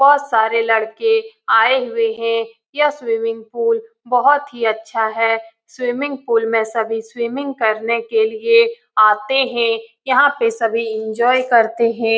बहोत सारे लड़के आए हुए हैं यह स्विमिंग पूल बहोत ही अच्छा है स्विमिंग पूल में सभी स्विमिंग करने के लिए आते हैं यहां पे सभी एन्जॉय करते हैं।